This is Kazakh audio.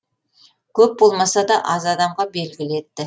көп болмаса да аз адамға белгілі етті